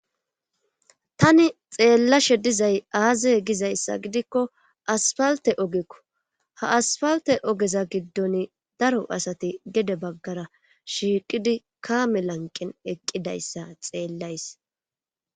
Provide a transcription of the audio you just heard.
Tani xeellashe dizay aaze gizayssa gidikko asfalte oogekko ha asfalte oogeza giddon daro asati gedde baggara shiiqidii kaame lanqen eqqidayssa xeellays